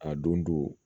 A don